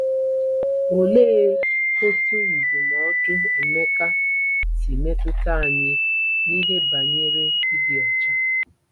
Olee otú ndụmọdụ Emeka si metụta anyị n’ihe banyere ịdị ọcha?